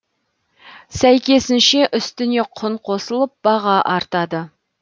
сәйкесінше үстіне құн қосылып баға артады